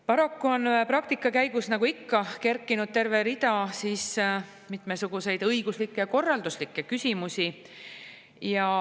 Paraku on praktika käigus kerkinud terve rida mitmesuguseid õiguslikke ja korralduslikke küsimusi.